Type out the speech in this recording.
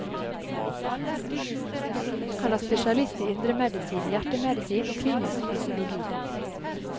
Han er spesialist i indremedisin, hjertemedisin og klinisk fysiologi.